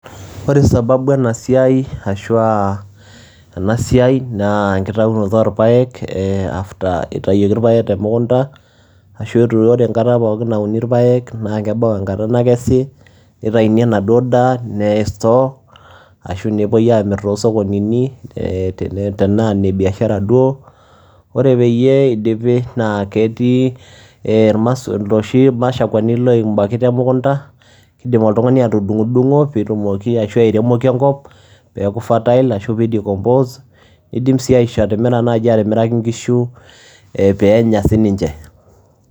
ore sababu ena siai ashu eana siai, naa enkitayunoto oorpaek, after itayioki irpaaek temukunta, ashu ore enata pookin nauni irpaek naa keba enkata nakesi, nitayuni enaduo daa neyae store, ashu nepuoi aamir too sokonini tenaa ine biashara duo. ore peyie eidipi, naa ketii iloshi mashakwani loitayioki temukunta, kidim oltungani atudungudungo pee etumoki airemoki enkop pee eku fertile ashu pee i decompose idimsii aisho atimiraki kishu pee enya sii ninche.